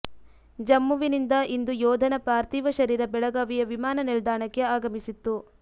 ಜಮ್ಮುವಿನಿಂದ ಇಂದು ಯೋಧನ ಪಾರ್ಥೀವ ಶರೀರ ಬೆಳಗಾವಿಯ ವಿಮಾನ ನಿಲ್ದಾಣಕ್ಕೆ ಆಗಮಿಸಿತ್ತು